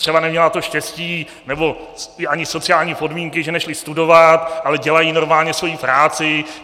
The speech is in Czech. Třeba neměli to štěstí nebo ani sociální podmínky, že nešli studovat, ale dělají normálně svoji práci.